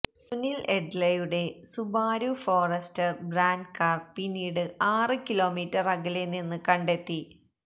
സുനില് എഡ്ലയുടെ Subaru Forester brand car പിന്നീട് ആറ് കിലോമീറ്റര് അകലെ നിന്ന് കണ്ടെത്തി